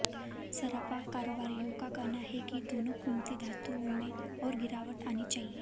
सराफा कारोबारियों का कहना है कि दोनों कीमती धातुओं में और गिरावट आनी चाहिए